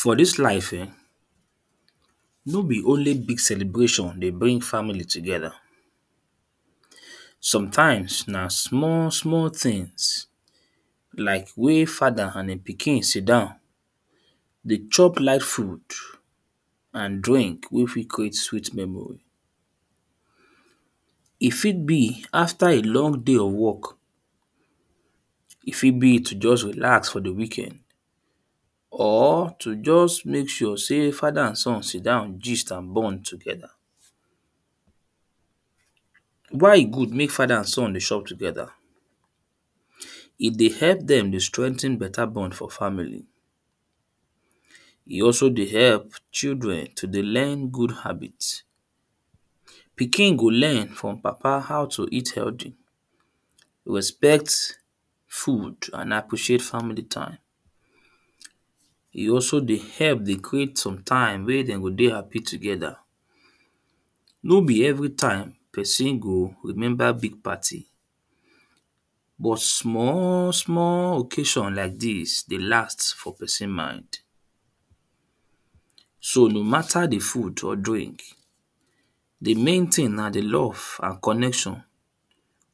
For dis life ern no be only big celebration dey bring family together. Some times na small small things like when father and e pikin sit down dey chop live food and drink wey fit create sweet memory. E fit be after a long day of work. E fit be to just relax for the weekend or to just make sure sey father and son sit down gist and bond together. Why e good make father and son dey chop together? erm E dey help dem dey strengh ten better bond for family. E also dey help children to dey learn good habit. Pikin go learn from papa how to eat healthy respect food and appreciate family time. E also dey help dey create sometime wey de go dey happy together. No be everytime person go remember big party. But small small ocassion like dis dey last for person mind. So no matter the food or drink, the main thing na the love and connection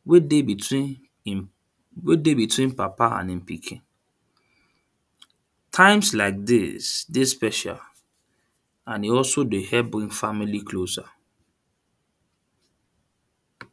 wey dey between im wey dey between papa and pikin. Times like dis dey special and e also dey help bring family closer.